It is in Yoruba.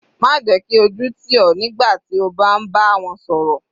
Má jẹ́ kí ojú tì ọ nígbà tí o bá ń bá wọn sọ̀rọ̀.